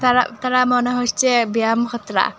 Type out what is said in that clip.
রা তারা মনে হচ্ছে ব্যায়াম ।